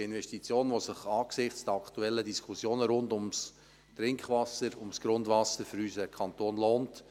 Dies ist eine Investition, die sich angesichts der aktuellen Diskussion rund um das Trinkwasser, das Grundwasser für unseren Kanton lohnt.